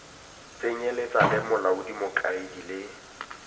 tsenyeletsa le molaodi mokaedi le